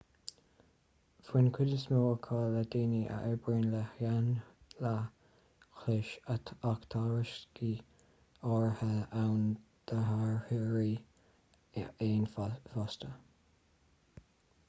bhain cuid is mó acu le daoine a oibríonn le héanlaith chlóis ach tá riosca áirithe ann d'fhairtheoirí éan fosta